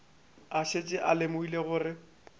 a šetše a lemogile gore